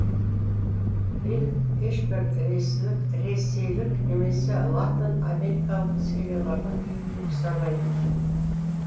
фильм ешбір ресейлік немесе латын америкалық ұқсамайды